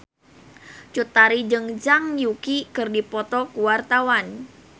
Cut Tari jeung Zhang Yuqi keur dipoto ku wartawan